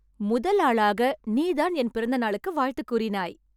முதல் ஆளாக நீ தான் என் பிறந்தநாளுக்கு வாழ்த்து கூறினாய்